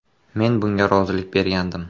Men bunga rozilik bergandim.